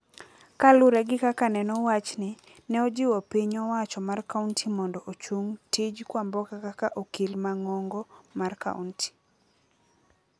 Kalure gi kaka neno wachni, neojiwo piny owacho mar kaunti mondo ochung tij Kwamboka kaka okil mang'ong'o mar kaunti.